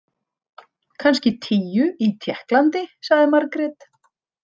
Kannski tíu í Tékklandi, sagði Margrét.